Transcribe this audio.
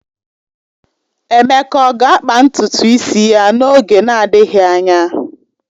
Emeka ọ ga-akpa ntutu isi ya n'oge na-adịghị anya?